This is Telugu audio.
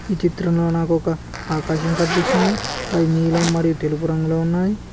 ఈ చిత్రంలో నాకొక ఆకాశం కన్పిస్తుంది అది నీలం మరియు తెలుపు రంగులో ఉన్నాయ్.